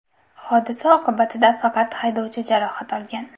Hodisa oqibatida faqat haydovchi jarohat olgan.